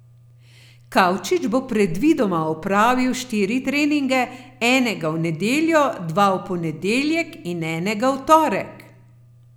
Kavčič bo predvidoma opravil štiri treninge, enega v nedeljo, dva v ponedeljek in enega v torek.